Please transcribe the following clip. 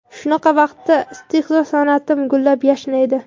Shunaqa vaqtda istehzo san’atim gullab-yashnaydi.